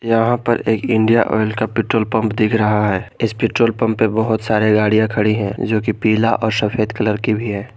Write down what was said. यहां पर एक इंडिया ऑयल का पेट्रोल पंप दिख रहा है इस पेट्रोल पंप पर बहोत सारे गाड़ियां खड़ी है जो कि पीला और सफेद कलर की भी हैं।